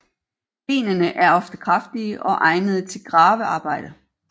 Benene er ofte kraftige og egnede til gravearbejde